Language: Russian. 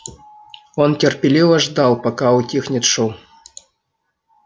он терпеливо ждал пока утихнет шум